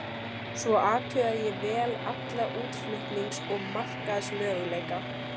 Svo athugaði ég vel alla útflutnings- og markaðsmöguleika.